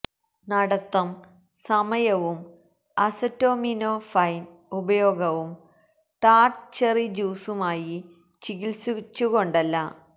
നടത്തം സമയവും അസറ്റോമിനോഫെൻ ഉപയോഗവും ടാർട്ട് ചെറി ജ്യൂസുമായി ചികിത്സിച്ചു കൊണ്ടല്ല